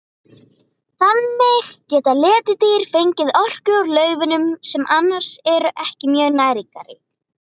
Þannig geta letidýr fengið orku úr laufunum sem annars eru ekki mjög næringarrík.